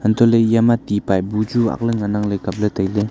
hantoh lah ley aya ti pipe bu chu ang lan ley ngan ang kap ley.